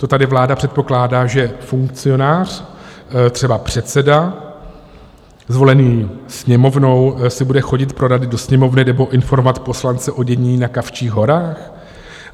To tady vláda předpokládá, že funkcionář, třeba předseda zvolený Sněmovnou, si bude chodit pro rady do Sněmovny nebo informovat poslance o dění na Kavčích horách?